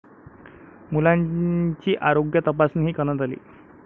मुलांची आरोग्य तपासणीही करण्यात आली.